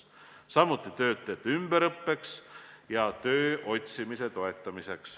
Samuti on võimalik anda toetusi töötajate ümberõppeks ja tööotsimise toetamiseks.